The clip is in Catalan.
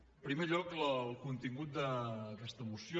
en primer lloc el contingut d’aquesta moció